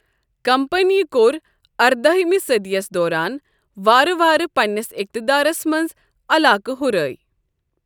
کمپنیہِ کوٚر اردأہمہِ صٔدیَس دوران وارٕ وارٕ پنِنِس اقتدارَس منٛز علاقہٕ ہُرٲے۔